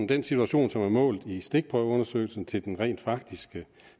den situation som er målet i stikprøveundersøgelsen til den rent faktiske